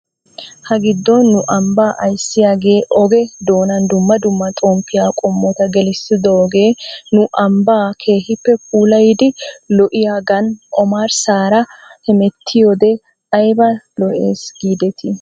Hagiddon nu ambbaa ayssiyaagee oge doonan dumma dumma xomppiyaa qommota gelissidoogee nu ambbaa keehippe puulayidi lo'iyaagan omarsaara hemetettiyoode ayba lo'es giidetii?